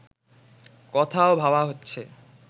কথাও ভাবা হচ্ছে